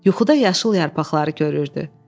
Yuxuda yaşıl yarpaqları görürdü.